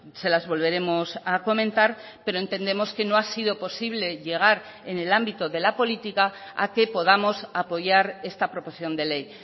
se las volveremos a comentar pero entendemos que no ha sido posible llegar en el ámbito de la política a que podamos apoyar esta proposición de ley